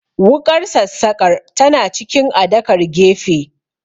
Wuƙar sassaƙar tana cikin adakar gefe